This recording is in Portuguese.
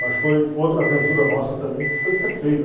Mas foi outra aventura nossa também que foi perfeita.